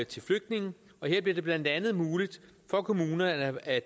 til flygtninge her bliver det blandt andet muligt for kommunerne at